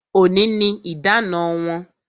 Òní ni idana wọn